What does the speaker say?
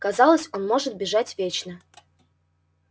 казалось он может бежать вечно